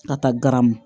A ka garamu